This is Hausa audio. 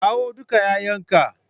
Kawo dukan 'ya'yanka!